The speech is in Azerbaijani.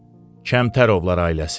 Kəmtərovlar ailəsi.